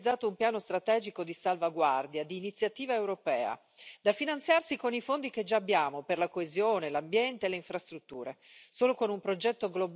Su tali basi va poi realizzato un piano strategico di salvaguardia, di iniziativa europea, da finanziarsi con i fondi che già abbiamo per la coesione, l'ambiente e le infrastrutture.